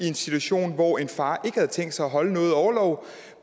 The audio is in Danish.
en situation hvor en far havde tænkt sig at holde noget orlov